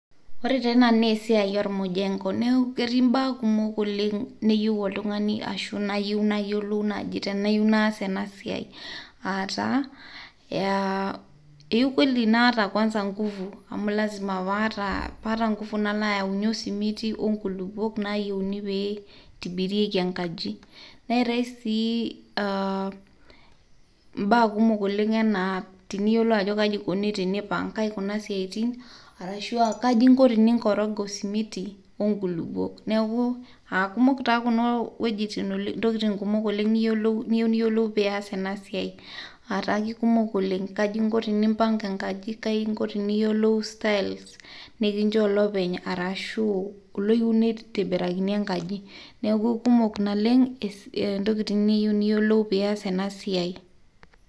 ore tee ena naa esiai or mujengo , neku ketii imbaa kumok oleng' ,neyieu oltung'ani ashu nayieu nayiolou naji tenayieu naas ena siai . aataa ,eyieu kweli naata nguvu amu lazima paata nguvu nala ayaunyie osimiti , nkulupuok nayieuni pe intibirieki enkaji . neetae sii aa mbaa kumok oleng' anaa tiniyiolu ajo kaji ikoni tenipang'ae kuna siatin arashua kaji inko teninkoroga osimiti onkulupuok . neku aa kumok taa kuna wuejitin oleng', ntokitin kumok oleng niyieu niyiolou peas ena siai ataa kikumok oleng' , kaji inko tenimpanga enkaji, kaji inko teniyiolu styles nikinchoo olopeny arashu olyieu nitobirakini enkaji . niaku kumok naleng' ntokitin niyieu niyiolou pias ena siai.